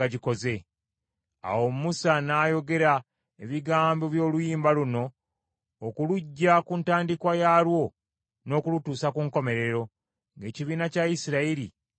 Awo Musa n’ayogera, ebigambo by’oluyimba luno okuluggya ku ntandikwa yaalwo n’okulutuusa ku nkomerero ng’ekibiina kya Isirayiri yenna kiwulira.